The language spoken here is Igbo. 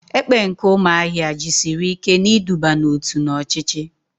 Ekpe nke umuahia jisiri ike na iduba n'otu na ochichi.